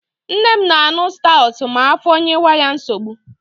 Nne m na-aṅu stawụt ma afọ nyewe ya nsogbu.